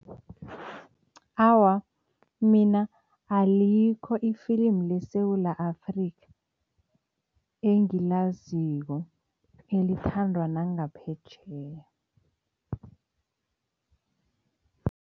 Awa, mina alikho ifilimu leSewula Afrika engilaziko elithandwa nangaphetjheya.